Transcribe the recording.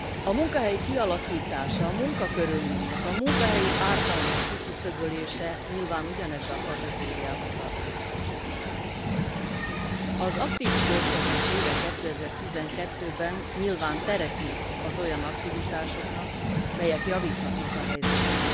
A munkahely kialakítása, a munkakörülmények, a munkahelyi ártalmak kiküszöbölése nyilván ugyanebbe a kategóriába tartozik. Az aktív idősödés éve 2012 ben nyilván teret nyit az olyan aktivitásoknak, melyek javíthatnak a helyzeten.